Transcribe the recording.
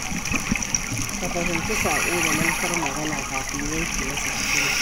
Ka fahimci saƙo da manufar magana kafin yanke masa hukunci.